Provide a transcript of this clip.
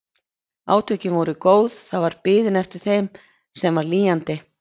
Átök voru góð, það var biðin eftir þeim sem var lýjandi.